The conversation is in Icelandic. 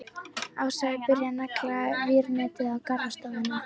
Ása er byrjuð að negla vírnetið á garðstofuna.